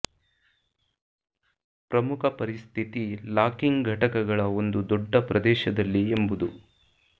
ಪ್ರಮುಖ ಪರಿಸ್ಥಿತಿ ಲಾಕಿಂಗ್ ಘಟಕಗಳ ಒಂದು ದೊಡ್ಡ ಪ್ರದೇಶದಲ್ಲಿ ಎಂಬುದು